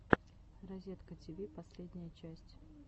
разеткативи последняя часть